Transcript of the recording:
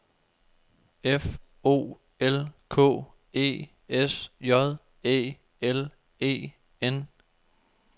F O L K E S J Æ L E N